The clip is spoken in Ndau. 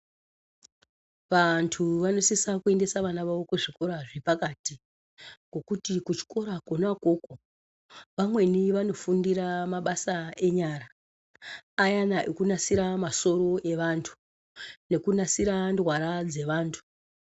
Vantu vanosisa kuendesa vava vavo kuzvikora zvepakati ngokuti kuchikora Kona ikoko vamweni vanofundira mabasa enyara, ayana ekunasira masoro evantu nekunasira ndwara dzevantu.